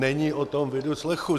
Není po tom vidu, slechu.